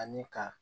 Ani ka